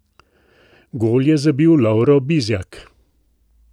Gol je zabil Lovro Bizjak.